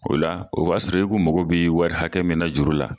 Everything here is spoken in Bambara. O la , o b'a sɔrɔ i ku mago b'i wari hakɛ min na juru la